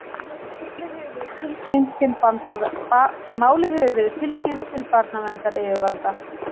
Málið hefur verið tilkynnt til barnaverndaryfirvalda